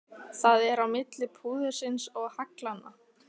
Það er á milli púðursins og haglanna.